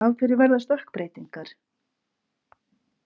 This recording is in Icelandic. Af hverju verða stökkbreytingar?